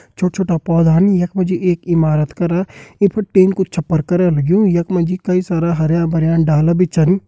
छोटा छोटा पौधान। यख मा जी एक इमारत करा ये पर टीन कु छप्पर करा लग्युं। यख मा जी कई सारा हरयां भरयां डाला भी छन।